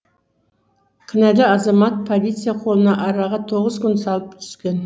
кінәлі азамат полиция қолына араға тоғыз күн салып түскен